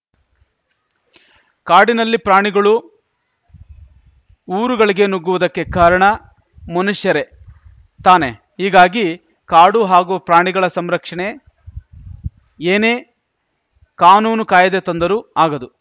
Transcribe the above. ಕಾಡಿನಲ್ಲಿ ಪ್ರಾಣಿಗಳು ಊರುಗಳಿಗೆ ನುಗ್ಗುವುದಕ್ಕೆ ಕಾರಣ ಮನುಷ್ಯರೇ ತಾನೆ ಹೀಗಾಗಿ ಕಾಡು ಹಾಗೂ ಪ್ರಾಣಿಗಳ ಸಂರಕ್ಷಣೆ ಏನೇ ಕಾನೂನು ಕಾಯ್ದೆ ತಂದರೂ ಆಗದು